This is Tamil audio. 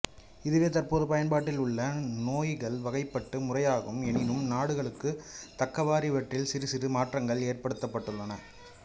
இதுவே தற்போது பயன்பாட்டில் உள்ள நோய்கள் வகைப்பாட்டு முறையாகும் எனினும் நாடுகளுக்குத் தக்கவாறு இவற்றில் சிறுசிறு மாற்றங்கள் ஏற்படுத்தப்பட்டுள்ளன